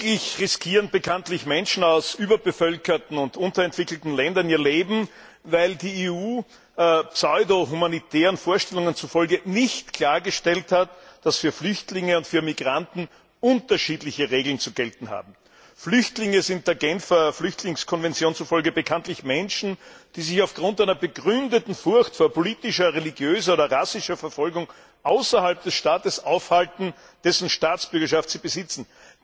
Täglich riskieren bekanntlich Menschen aus überbevölkerten und unterentwickelten Ländern ihr Leben, weil die EU pseudohumanitären Vorstellungen zufolge nicht klargestellt hat, dass für Flüchtlinge und für Migranten unterschiedliche Regeln zu gelten haben. Flüchtlinge sind der Genfer Flüchtlingskonvention zufolge bekanntlich Menschen, die sich aufgrund einer begründeten Furcht vor politischer, religiöser oder rassischer Verfolgung außerhalb des Staates aufhalten, dessen Staatsbürgerschaft sie besitzen.